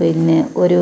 പിന്നെ ഒരു